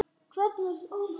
Og?